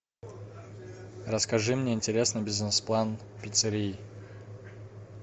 расскажи мне интересный бизнес план пиццерии